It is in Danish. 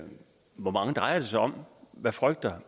drejer sig om hvad frygter